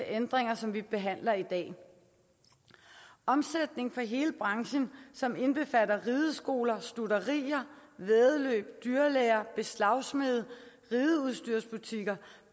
ændringer som vi behandler i dag omsætningen for hele branchen som indbefatter rideskoler stutterier væddeløb dyrlæger beslagsmede rideudstyrsbutikker